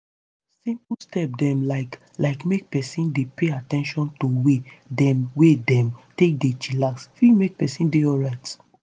simple step dem like like make peson dey pay at ten tion to way dem wey dem take dey chillax fit make peson dey alrite.